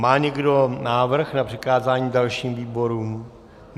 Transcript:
Má někdo návrh na přikázání dalším výborům?